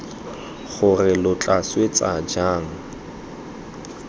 gore lo tla swetsa jang